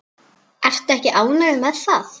Ertu ekki ánægð með það?